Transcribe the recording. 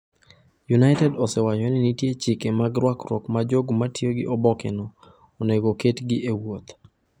United osewacho ni nitie chike mag rwakruok ma jogo ma tiyo gi obokeno onego oketgi e wuoth.